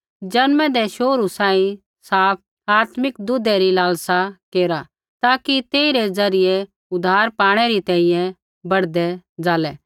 जन्मै दै शोहरु सांही साफ आत्मिक दूधै री लालसा केरा ताकि तेइरै द्वारा उद्धार पाणै री तैंईंयैं बढ़दै ज़ालै